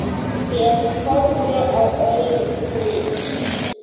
Ég horfi á auglýs